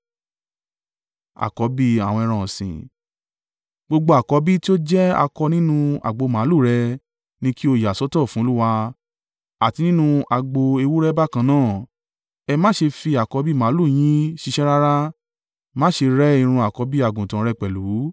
Gbogbo àkọ́bí tí o jẹ́ akọ nínú agbo màlúù rẹ ni kí o yà sọ́tọ̀ fún Olúwa, àti nínú agbo ewúrẹ́ bákan náà. Ẹ má ṣe fi àkọ́bí màlúù yín ṣiṣẹ́ rárá. Má ṣe rẹ́ irun àkọ́bí àgùntàn rẹ pẹ̀lú.